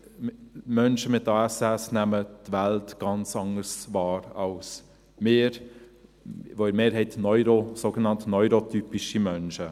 Menschen mit ASS nehmen die Welt ganz anders wahr als wir, sogenannt neurotypische Menschen.